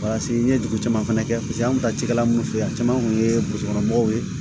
n ye dugu caman fɛnɛ kɛ paseke an kun mi taa cikɛla mun fe yen a caman kun ye mɔgɔw ye